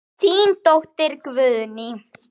Þín dóttir, Guðný.